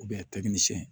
a taki ni siyɛn